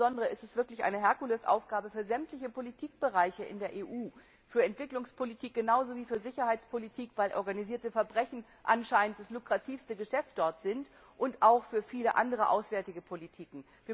Aber insbesondere ist es wirklich eine Herkulesaufgabe für sämtliche Politikbereiche in der EU, für Entwicklungspolitik genauso wie für Sicherheitspolitik, weil organisierte Verbrechen anscheinend das lukrativste Geschäft dort sind, und auch für viele andere auswärtige Politiken.